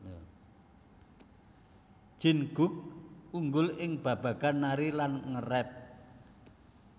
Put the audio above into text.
Jin Guk unggul ing babagan nari lan nge rap